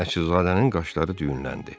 Nəcibzadənin qaşları düyünləndi.